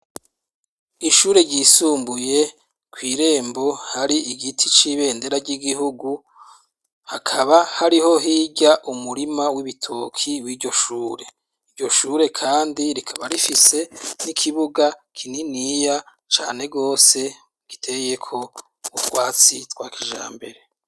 Ishure ryisumbuye kw'irembo hari igiti c'ibendera ry'igihugu hakaba hariho hirya umurima w'ibitoki w'iryoshure. Iryoshure kandi rikaba rifise n'ikibuga kininiya cane rwose giteyeko ubutwatsi twa kijambere.